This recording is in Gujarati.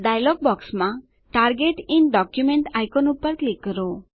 ડાયલોગ બોક્સમાં ટાર્ગેટ ઇન ડોક્યુમેન્ટ આઈકોન પર ક્લિક કરો